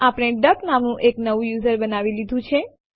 આપણે ડક નામનું એક નવું યુઝર બનાવી લીધું છે